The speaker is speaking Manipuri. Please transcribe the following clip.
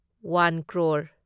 ꯋꯥꯟ ꯀ꯭ꯔꯣꯔ